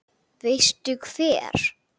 Veistu hver